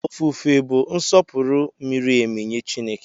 Ofufe bụ nsọpụrụ miri emi nye Chineke.